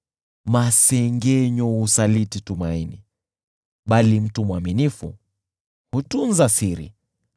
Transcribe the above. Masengenyo husaliti tumaini, bali mtu mwaminifu hutunza siri.